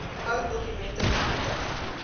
ou dokumente vernietig